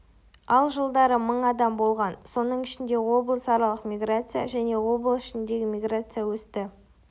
ал жылдары мың адам болған соның ішінде облыс аралық миграция және облыс ішіндегі миграция өсті